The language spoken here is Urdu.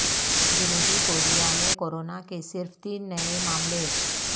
جنوبی کوریا میں کورونا کے صرف تین نئے معاملے